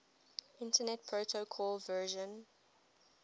internet protocol version